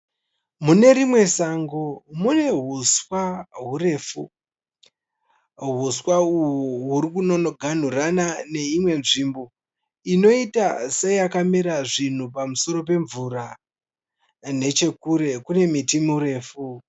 Mune rimwe sango mune huswa hurefu, huswa uhu huri kunonoganurana neimwe nzvimbo inoita seyakamera zvinhu pamusoro pemvura, nechekure kune muti mirefu.